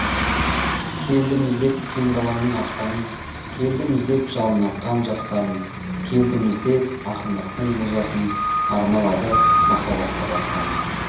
келдім іздеп кең даламның аспанын келдім іздеп жалын атқан жастарын келдім іздеп ақындықтың музасын арналады махаббатқа дастаным